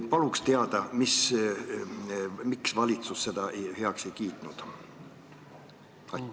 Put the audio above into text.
Palun öelge, miks valitsus seda heaks ei kiitnud!